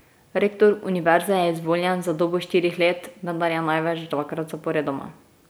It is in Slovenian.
Rektor univerze je izvoljen za dobo štirih let, vendar največ dvakrat zaporedoma.